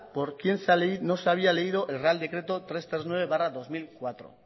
por qué no se había leído el real decreto trescientos treinta y nueve barra dos mil cuatro